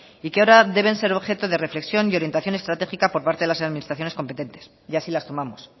y que ahora deben ser objeto de reflexión y orientación estratégica por parte de las administraciones competentes y así las tomamos